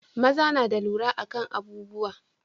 maza na da lura akan abubuwa